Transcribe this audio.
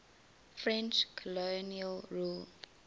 french colonial rule